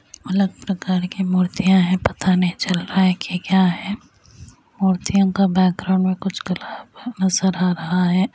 अलग प्रकार की मूर्तियॉ है पता नहीं चल रहा हैकी क्या है। मूर्तियों का बैग्राउंड में कुछ कलर नजर आ रहा है।